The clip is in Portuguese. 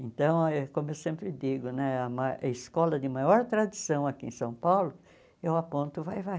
Então, como eu sempre digo né, a ma a escola de maior tradição aqui em São Paulo, eu aponto Vai-vai.